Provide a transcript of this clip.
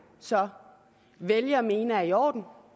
så vælge at mene er i orden